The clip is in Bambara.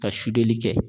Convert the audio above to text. Ka sudeli kɛ